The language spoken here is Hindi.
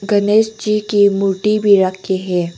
गणेश जी की मूर्ति भी रखी है।